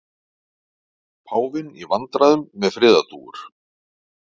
Páfinn í vandræðum með friðardúfur